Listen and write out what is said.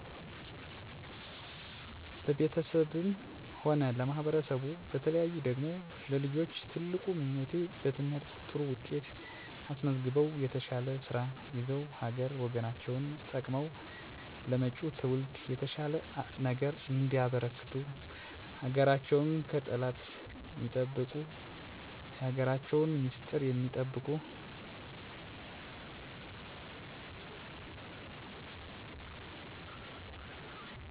ለቤተሰቤም ሆነ ለማህበረሰቡ በተለየ ደግሞ ለልጆቼ ትልቁ ምኞቴ በትምህርት ጥሩ ውጤት አስመዝግበው የተሻለ ስራ ይዘው ሀገር ወገናቸውን ጠቅመው ለመጭው ትውልድ የተሻለ ነገር እንዲያበረክቱ ሀገራቸውን ከጠላት ሚጠብቁ የሀገራቸውን ሚስጥር ሚጠብቁ ሁነው ማየት እፈልጋለሁ። ማህበረሰቡ ደግሞ እርስ በእርሱ ሚዋደድ ሚደጋገፍ ሚከባበር ማህበረሰብ እንዲሆን እመኛለው። ሀገርን የተሻለ ቦታ ለማድረስ እርስ በእርስ መተባበር ያስፈልጋል እና የተሻለ ለውጥ ላይ ለመድረስ ራስን በየቀኑ ማሻሻል እና መተባበር ይገባል።